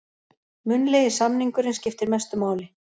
Munnlegi samningurinn skiptir mestu máli